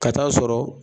Ka taa'a sɔrɔ